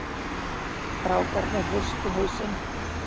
Strákarnir hristu hausinn.